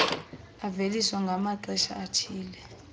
aveliswa ngamaxesha athile